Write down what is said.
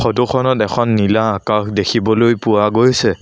ফটোখনত এখন নীলা আকাশ দেখিবলৈ পোৱা গৈছে।